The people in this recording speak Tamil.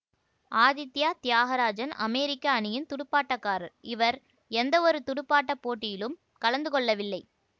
ஆதித்யா தியாகராஜன் அமெரிக்க அணியின் துடுப்பாட்டக்காரர் இவர் எந்தவொரு தேர்வு துடுப்பாட்ட போட்டியிலும் கலந்து கொள்ளவில்லை